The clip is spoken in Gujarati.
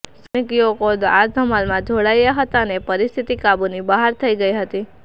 સ્થાનિક યુવકો આ ધમાલમાં જોડાયા હતા અને પરિસ્થિતિ કાબૂની બહાર થઈ ગઈ હતી